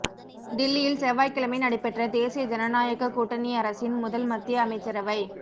தில்லியில் செவ்வாய்க்கிழமை நடைபெற்ற தேசிய ஜனநாயகக் கூட்டணி அரசின் முதல் மத்திய அமைச்சரவை